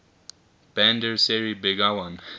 bandar seri begawan